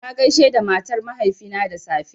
Na gaishe da matar mahaifina da safe